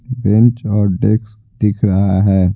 Bench और desks दिख रहा है।